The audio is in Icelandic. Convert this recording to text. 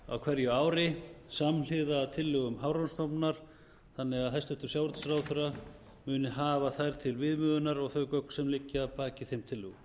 á hverju ái samhliða tillögum hafrannsóknastofnunar þannig að hæstvirtur sjávarútvegsráðherra muni hafa þær til viðmiðunar og þau gögn sem liggja að baki þeim tillögum